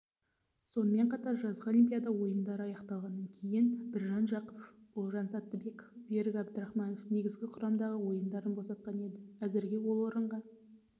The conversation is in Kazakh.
сонымен қатар жазғы олимпиада ойындары аяқталғаннан кейін біржан жақыпов олжас саттыбаев берік әбдірахманов негізгі құрамдағы орындарын босатқан еді әзірге ол орынға